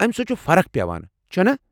امہ سۭتۍ چُھ فرخ پٮ۪وان، چُھنا؟